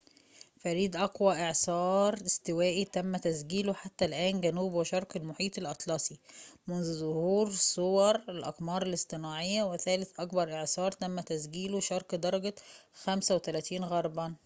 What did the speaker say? فريد أقوى إعصار استوائي تم تسجيله حتى الآن جنوب وشرق المحيط الأطلسي منذ ظهور صور الأقمار الاصطناعية وثالث أكبر إعصار تم تسجيله شرق درجة 35 غربًا